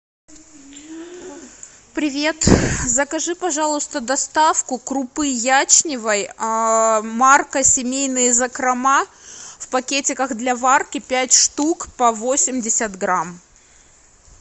привет закажи пожалуйста доставку крупы ячневой марка семейные закрома в пакетиках для варки пять штук по восемьдесят грамм